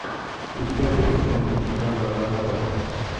у тебя будет киношка жанра ранобэ